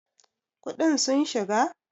kuɗin sun shiga!!